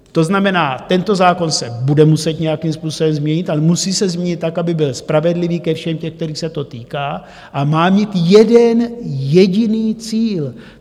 To znamená, tento zákon se bude muset nějakým způsobem změnit, ale musí se změnit tak, aby byl spravedlivý ke všem těm, kterých se to týká, a má mít jeden jediný cíl.